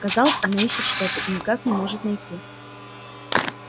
казалось она ищет что то и никак не может найти